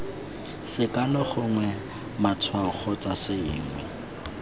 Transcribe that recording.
sekano gongwe matshwao kgotsa sengwe